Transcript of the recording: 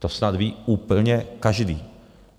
To snad ví úplně každý.